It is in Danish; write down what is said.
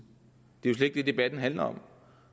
yder